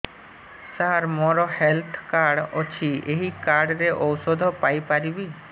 ସାର ମୋର health card ଅଛି ଏହି କାର୍ଡ ରେ ଔଷଧ ପାଇପାରିବି